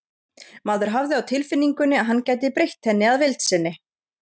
Maður hafði á tilfinningunni að hann gæti breytt henni að vild sinni.